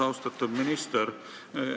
Austatud minister!